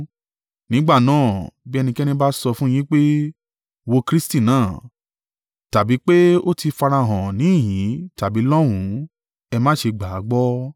Nígbà náà, bí ẹnikẹ́ni bá sọ fún yín pé, ‘Wo Kristi náà,’ tàbí pé ó ti farahàn níhìn-ín tàbí lọ́hùn ún, ẹ má ṣe gbà á gbọ́.